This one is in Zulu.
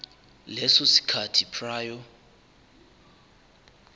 leso sikhathi prior